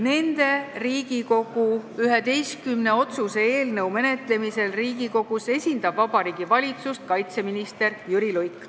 Nende Riigikogu 11 otsuse eelnõu menetlemisel Riigikogus esindab Vabariigi Valitsust kaitseminister Jüri Luik.